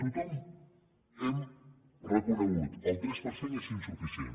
tothom ho hem reconegut el tres per cent és insuficient